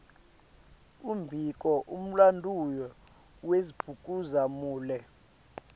umbiko mlanduo wasdbhuza mule